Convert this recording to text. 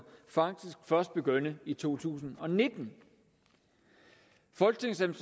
faktisk først begyndte i to tusind og nitten folketingets